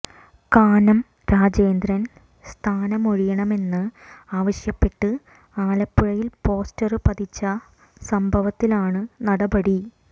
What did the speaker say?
കാനം രാജേന്ദ്രൻ സ്ഥാനമൊഴിയണമെന്ന് ആവശ്യപ്പെട്ട് ആലപ്പുഴയിൽ പോസ്റ്റര് പതിച്ച സംഭവത്തിലാണ് നടപടി